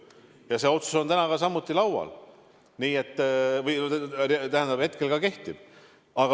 Ja see otsus on täna samuti laual, see kehtib ka praegu.